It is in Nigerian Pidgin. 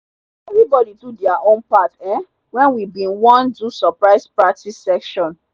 everybody do their own part um when we bin want do surprise practice session.